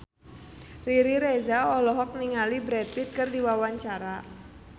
Riri Reza olohok ningali Brad Pitt keur diwawancara